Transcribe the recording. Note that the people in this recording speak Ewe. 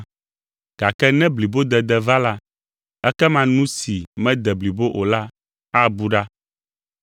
gake ne blibodede va la, ekema nu si mede blibo o la abu ɖa.